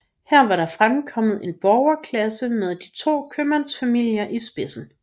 Her var der fremkommet en borgerklasse med de to købmandsfamilier i spidsen